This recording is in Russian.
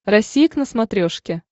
россия к на смотрешке